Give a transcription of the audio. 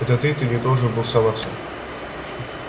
это ты ты не должен был соваться